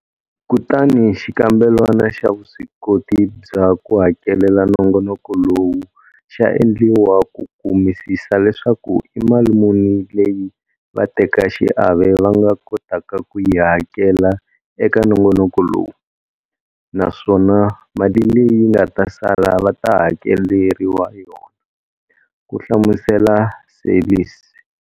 Kutani xikambelwana xa vuswikoti bya ku hakelela nongonoko lowu xa endliwa ku kumisisa leswaku i mali muni leyi vatekaxiave va nga kotaka ku yi hakela eka nongonoko lowu, naswona mali leyi nga ta sala va ta hakeleriwa yona, ku hlamusela Seirlis.